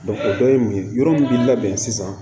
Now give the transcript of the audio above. o dɔ ye mun ye yɔrɔ min bi labɛn sisan